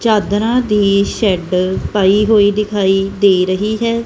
ਚਾਦਰਾਂ ਦੀ ਸ਼ੈਡ ਪਾਈ ਹੋਈ ਦਿਖਾਈ ਦੇ ਰਹੀ ਹੈ।